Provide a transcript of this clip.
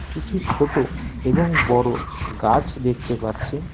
কিছু ছোটো এবং বড়ো গাছ দেখতে পাচ্ছি।